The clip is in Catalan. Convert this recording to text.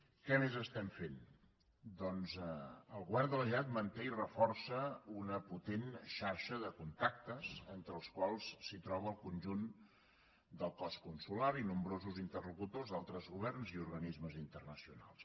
què més estem fent doncs el govern de la generalitat manté i reforça una potent xarxa de contactes entre els quals es troben el conjunt del cos consular i nombrosos interlocutors d’altres governs i organismes internacionals